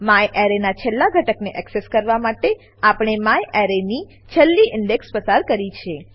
મ્યારે નાં છેલ્લા ઘટકને એક્સેસ કરવા માટે આપણે મ્યારે ની છેલ્લી ઇન્ડેક્સ ઇન્ડેક્સ પસાર કરી છે